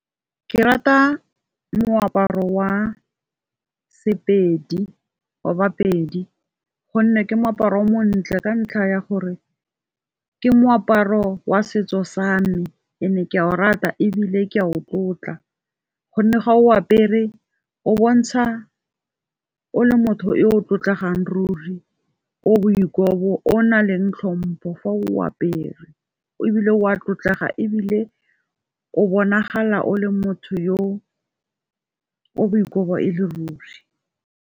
Ke rata moaparo wa bapedi, gonne ke moaparo o mo ntle ka ntlha ya gore ke moaparo wa setso sa me and-e ke o rata ebile ke a o tlotla. Gonne ga o apere o bontsha o le motho yo o tlotlegang ruri, o boikobo, o nang le tlhompho fa o apere, ebile o a tlotlega ebile o bonagala o le motho yo o boikobo e le ruri.